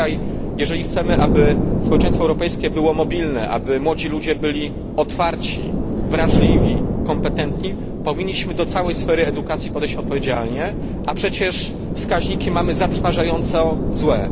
Dzisiaj, jeżeli chcemy, aby społeczeństwo europejskie było mobilne, aby młodzi ludzie byli otwarci, wrażliwi, kompetentni, powinniśmy do całej sfery edukacji podejść odpowiedzialnie, a przecież wskaźniki mamy zatrważająco złe.